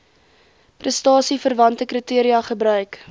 prestasieverwante kriteria gebruik